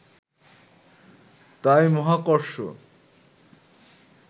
তাই মহাকর্ষ